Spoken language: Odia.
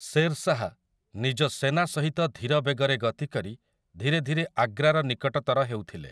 ଶେର୍ ଶାହ୍ ନିଜ ସେନାସହିତ ଧୀର ବେଗରେ ଗତି କରି ଧୀରେଧୀରେ ଆଗ୍ରାର ନିକଟତର ହେଉଥିଲେ ।